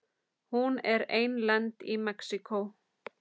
Hún er einlend í Mexíkó.